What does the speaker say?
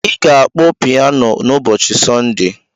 Ị ga-akpọ pianu n'ụbọchị Sọnde.